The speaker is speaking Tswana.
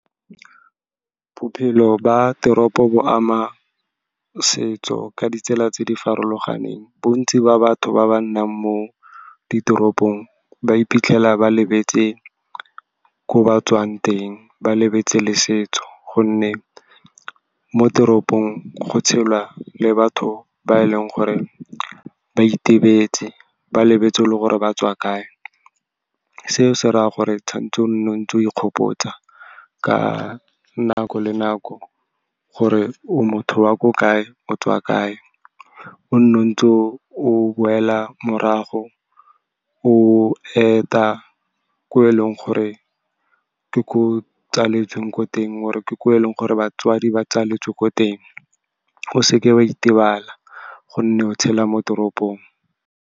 Bophelo ba teropo bo ama setso ka ditsela tse di farologaneng. Bontsi ba batho ba ba nnang mo ditoropong ba iphitlhela ba lebetse ko ba tswang teng, ba lebetse le setso, gonne mo teropong go tshelwa le batho ba e leng gore ba itebetse, ba lebetse le gore ba tswa kae. Seo se ra gore o tshwantshe o ntse o ikgopotsa ka nako le nako gore o motho wa ko kae, o tswa kae, o nne o ntse o boela morago, o eta ko eleng gore ko o tsaletsweng ko teng, or-e ke ko eleng gore batswadi ba tswaletswe ko teng. O seke wa itebala gonne o tshela mo toropong.